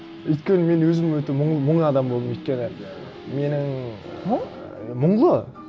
өйткені мен өзім өте мұн адам болдым өйткені менің ы мұн мұнлы